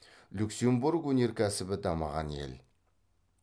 люксембург өнеркәсібі дамыған ел